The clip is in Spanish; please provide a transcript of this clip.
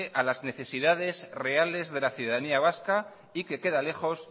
a las necesidades reales de la ciudadanía vasca y que queda lejos